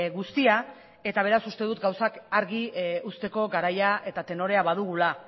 guztia eta beraz uste dut gauzak argi uzteko garaia eta tenorea badugula